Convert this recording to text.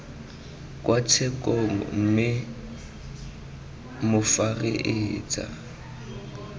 kwa tshekong mme fa moreetsa